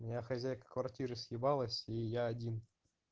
у меня хозяйка квартиры ушла и я один